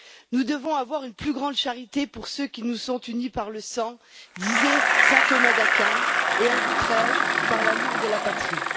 Nous devons avoir une plus grande charité pour ceux qui nous sont unis par le sang, disait saint Thomas d'Aquin, et, ajouterai je, par l'amour de la patrie.